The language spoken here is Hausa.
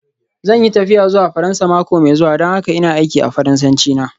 Zan yi tafiya zuwa Faransa mako mai zuwa don haka ina aiki a Faransanci na.